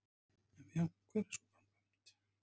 Ef já, hver er sú framkvæmd?